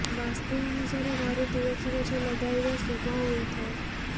ବାସ୍ତୁ ଅନୁସାରେ ଘରେ ତୁଳସୀ ଗଛ ଲଗାଇବା ଶୁଭ ହୋଇଥାଏ